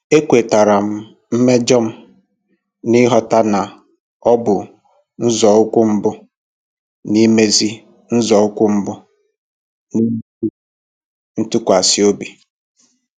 Ekwetara m mmejọ m, n'ịghọta na ọ bụ nzọụkwụ mbụ n'imezi nzọụkwụ mbụ n'imezi ntụkwasị obi.